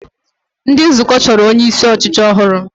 Ndị nzukọ chọrọ onyeisi ọchịchị ọhụrụ